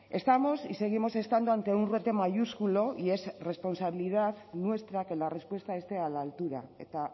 estamos y seguimos estando ante un reto mayúsculo y es responsabilidad nuestra que la respuesta esté a la altura eta